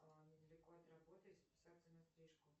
недалеко от работы записаться на стрижку